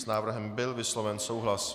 S návrhem byl vysloven souhlas.